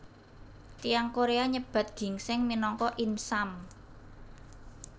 Tiyang Korea nyebat ginsèng minangka insam